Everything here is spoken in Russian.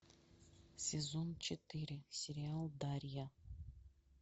сезон четыре сериал дарья